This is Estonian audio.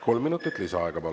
Kolm minutit lisaaega, palun.